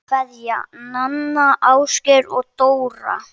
Kveðja, Nanna, Ásgeir og Dóra